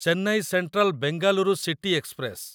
Chennai central Bengaluru city express